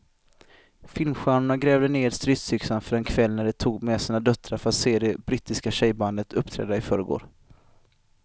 Filmstjärnorna grävde ned stridsyxorna för en kväll när de tog med sina döttrar för att se det brittiska tjejbandet uppträda i förrgår.